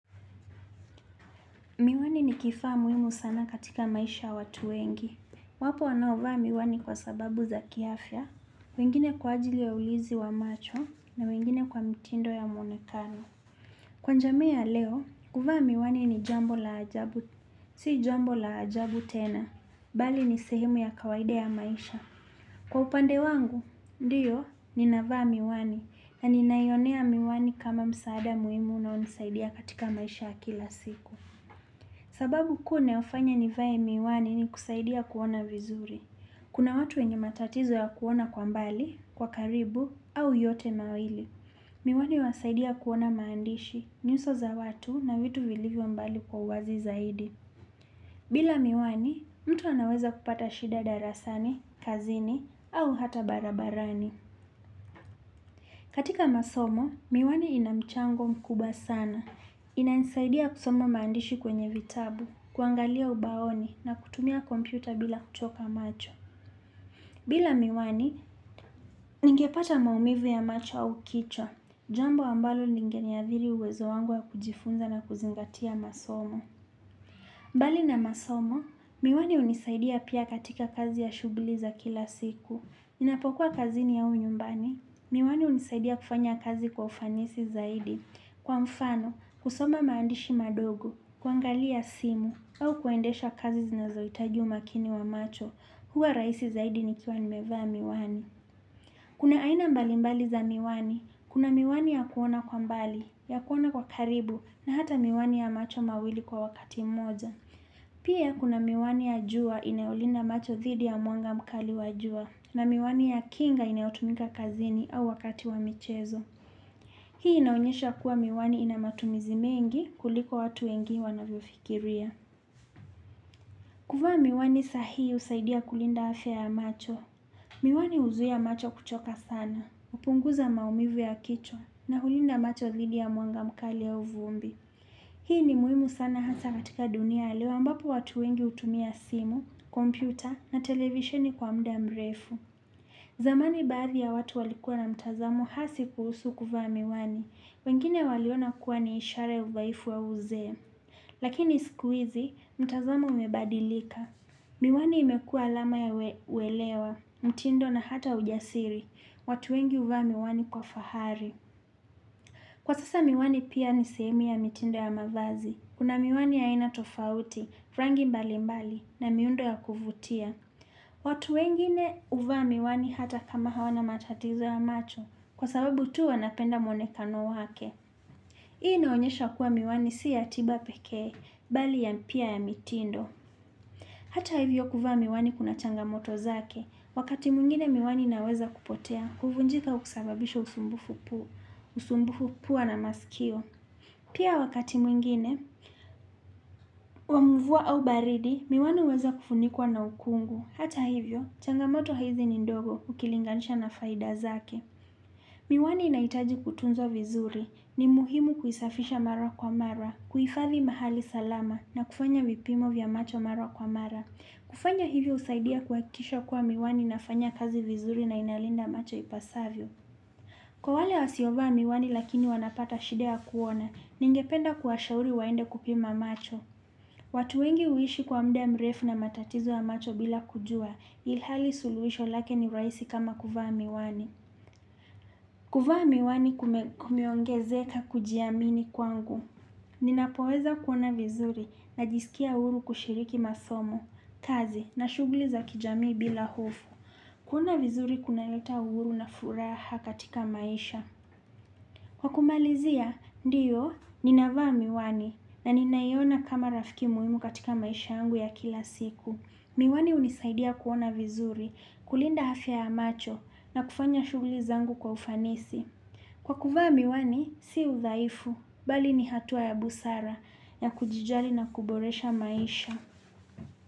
Miwani ni kifaa muimu sana katika maisha ya watu wengi. Wapo wanaovaa miwani kwa sababu za kiafya, wengine kwa ajili ya ulinzi wa macho na wengine kwa mtindo ya mwonekano. Kwa jamii ya leo, kufaa miwani ni jambo la ajabu, si jambo la ajabu tena, bali ni sehemu ya kawaida ya maisha. Kwa upande wangu, ndiyo, ninavaa miwani na ninayaonea miwani kama msaada muhimu na hunisaidia katika maisha kila siku. Sababu kuu inayofanya nivae miwani ni kusaidia kuona vizuri. Kuna watu wenye matatizo ya kuona kwa mbali, kwa karibu, au yote mawili. Miwani huwasaidia kuona maandishi, nyuso za watu na vitu vilivyo mbali kwa uwazi zaidi. Bila miwani, mtu anaweza kupata shida darasani, kazini, au hata barabarani. Katika masomo, miwani inamchango mkubwa sana. Inanisaidia kusomo maandishi kwenye vitabu. Kuangalia ubaoni na kutumia kompyuta bila kuchoka macho. Bila miwani, ningepata maumivu ya macho au kichwa. Jambo ambalo lingeniadhiri uwezo wangu ya kujifunza na kuzingatia masomo. Mbali na masomo, miwani hunisaidia pia katika kazi ya shughuli za kila siku. Ninapokuwa kazini au nyumbani, miwani hunisaidia kufanya kazi kwa ufanisi zaidi. Kwa mfano, kusoma maandishi madogo, kuangalia simu, au kuendesha kazi zinazo hitaji umakini wa macho, huwa rahisi zaidi nikiwa nimevaa miwani. Kuna aina mbali mbali za miwani, kuna miwani ya kuona kwa mbali, ya kuona kwa karibu, na hata miwani ya macho mawili kwa wakati moja. Pia kuna miwani ya jua inayolinda macho dhidi ya mwanga mkali wa jua, na miwani ya kinga inayotumika kazini au wakati wa michezo. Hii inaonyesha kuwa miwani ina matumizi mengi kuliko watu wengi wanavyofikiria. Kuvaa miwani sahihi husaidia kulinda afya ya macho. Miwani huzuia macho kuchoka sana, hupunguza maumivu ya kichwa na hulinda macho dhidi ya mwanga mkali ya uvumbi. Hii ni muhimu sana hata katika dunia ya leo ambapo watu wengi hutumia simu, kompyuta na televisheni kwa muda mrefu. Zamani baadhi ya watu walikua na mtazamo hasi kuhusu kuvaa miwani. Wengine waliona kuwa ni ishara ya udhaifu wa uzee, lakini siku hizi mtazamo umebadilika. Miwani imekua alama ya uwelewa, mtindo na hata ujasiri, watu wengi huvaa miwani kwa fahari. Kwa sasa miwani pia nisehemu ya mitindo ya mavazi, kuna miwani ya aina tofauti, rangi mbali mbali na miundo ya kuvutia. Watu wengine huvaa miwani hata kama hawana matatizo ya macho, kwa sababu tu wanapenda mwonekano wake. Hii inaonyesha kuwa miwani si ya tiba pekee, bali ya mpia ya mitindo. Hata hivyo kuvaa miwani kuna changamoto zake, wakati mwingine miwani inaweza kupotea, kuvunjika au kusababisha usumbufu pua na masikio. Pia wakati mwingine, wa muvua au baridi, miwani huweza kufunikwa na ukungu. Hata hivyo, changamoto haithi ni ndogo ukilinganisha na faida zake. Miwani inaitaji kutunzwa vizuri ni muhimu kuisafisha mara kwa mara, kuhifadhi mahali salama na kufanya vipimo vya macho mara kwa mara. Kufanya hivi husaidia kuhakikisha kuwa miwani inafanya kazi vizuri na inalinda macho ipasavyo. Kwa wale wasiovaa miwani lakini wanapata shida ya kuona, ningependa kuwashauri waende kupima macho. Watu wengi huishi kwa muda mrefu na matatizo ya macho bila kujua ilhali suluhisho lake ni rahisi kama kuvaa miwani. Kuvaa miwani kumeongezeka kujiamini kwangu. Ninapoweza kuona vizuri najisikia huru kushiriki masomo, kazi na shughuli za kijamii bila hofu. Kuona vizuri kuna leta uhuru na furaha katika maisha. Kwa kumalizia, ndiyo, ninavaa miwani na ninayaona kama rafiki muhimu katika maisha yangu ya kila siku. Miwani hunisaidia kuona vizuri kulinda afya ya macho na kufanya shughuli zangu kwa ufanisi. Kwa kuvaa miwani, si udhaifu, bali ni hatua ya busara ya kujijali na kuboresha maisha.